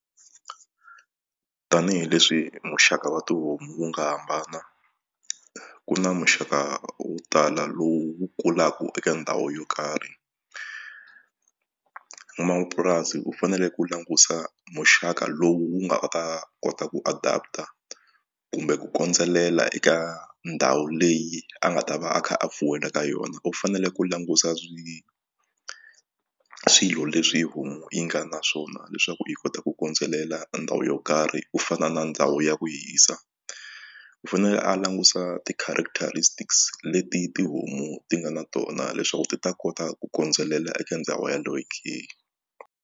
Tanihi leswi muxaka wa tihomu wu nga hambana ku na muxaka wo tala lowu wu kulaka eka ndhawu yo karhi n'wamapurasi u fanele ku langusa muxaka lowu nga ta kota ku adapter kumbe ku kondzelela eka ndhawu leyi a nga ta va a kha a fuwela eka yona u fanele ku langusa swilo leswi homu yi nga na swona leswaku yi kota ku kondzelela ndhawu yo karhi ku fana na ndhawu ya ku hisa u fanele a langusa ti-characteristics leti tihomu ti nga na tona leswaku ti ta kota ku kondzelela eka ndhawu yeleyo ke.